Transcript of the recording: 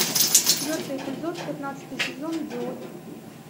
четвертый эпизод пятнадцатый сезон идиот